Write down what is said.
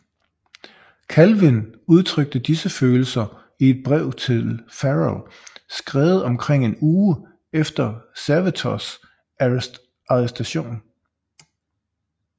Calvin udtrykte disse følelser i et brev til Farel skrevet omkring en uge efter Servetos arrestation